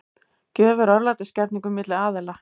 Gjöf er örlætisgerningur milli aðila.